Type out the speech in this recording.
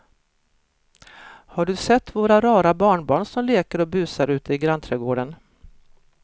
Har du sett våra rara barnbarn som leker och busar ute i grannträdgården!